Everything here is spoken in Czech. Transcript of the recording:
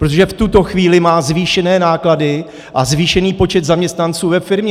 Protože v tuto chvíli má zvýšené náklady a zvýšený počet zaměstnanců ve firmě.